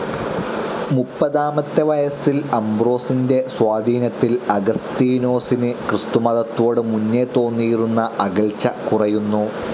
മുപ്പതാമത്തെ വയസ്സിൽ അംബ്രോസിന്റെ സ്വാധീനത്തിൽ അഗസ്തീനോസിന്‌ ക്രിസ്തുമതത്തോട് മുന്നേ തോന്നിയിരുന്ന അകൽച്ച കുറയുന്നു.